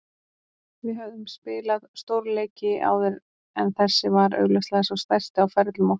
Við höfðum spilað stórleiki áður en þessi var augljóslega sá stærsti á ferlum okkar.